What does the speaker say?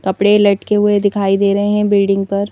कपड़े लटके हुए दिखाई दे रहे हैं बिल्डिंग पर।